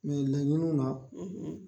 laɲiniw na